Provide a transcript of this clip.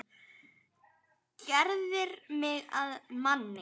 Gerðir mig að manni.